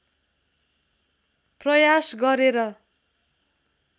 प्रयास गरे र